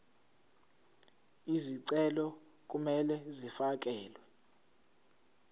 izicelo kumele zifakelwe